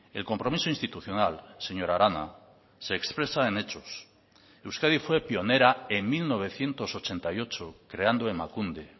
el compromiso institucional señora arana se expresa en hechos euskadi fue pionera en mil novecientos ochenta y ocho creando emakunde